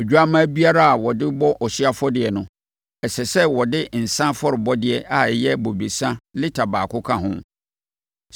Odwammaa biara a wɔde bɔ ɔhyeɛ afɔdeɛ no, ɛsɛ sɛ wɔde nsã afɔrebɔdeɛ a ɛyɛ bobesa lita baako ka ho.